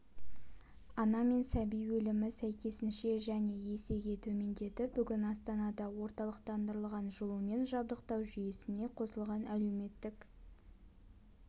ана мен сәби өлімі сәйкесінше жән есеге төмендеді бүгін астанада орталықтандырылған жылумен жабдықтау жүйесіне қосылған әлеуметтік